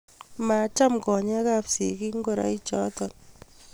Macham konyeek ab sikiik ngoroik choto.